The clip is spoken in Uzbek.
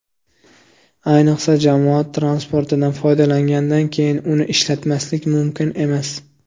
Ayniqsa, jamoat transportidan foydalangandan keyin uni ishlatmaslik mumkin emas.